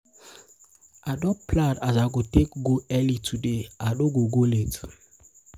i don plan as i go take go early today l no go go late.